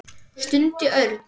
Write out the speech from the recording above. stundi Örn.